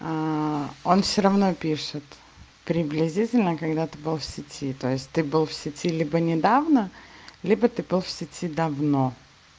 он всё равно пишет приблизительно когда ты был в сети то есть ты был в сети либо недавно либо ты был в сети давно